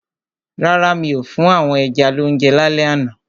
Rárá, mi ò fún àwọn ẹja lounje lálẹ́ àná.